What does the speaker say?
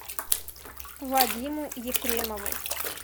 вадиму ефремову